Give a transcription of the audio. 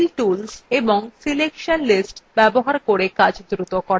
fill tools এবং selection lists ব্যবহার করে কাজ দ্রুত করা